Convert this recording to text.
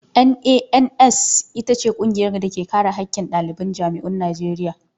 NANS ita ce ƙungiyar da ke kare haƙƙin ɗaliban jami'un Najeriya.